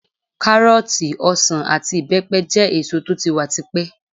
Kárọ́ọ̀tì, ọsàn àti ìbẹ́pẹ jẹ́ èso tó ti wà ti pẹ́.